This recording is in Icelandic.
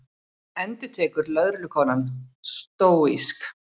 endurtekur lögreglukonan stóísk.